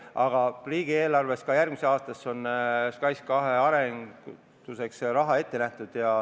Aga riigieelarvesse, ka järgmisesse aastasse on SKAIS2 arenduseks raha ette nähtud.